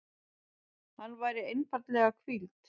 Hann væri einfaldlega hvíld.